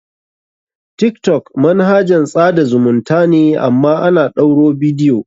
Tiktok manahajan tsada zumunta ne amma ana ɗaura bidiyo.